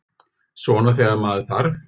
Svona þegar með þarf.